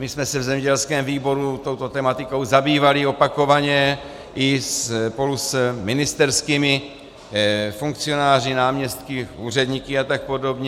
My jsme se v zemědělském výboru touto tematikou zabývali opakovaně i spolu s ministerskými funkcionáři, náměstky, úředníky a tak podobně.